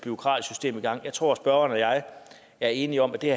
bureaukratisk system i gang jeg tror spørgeren og jeg er enige om at det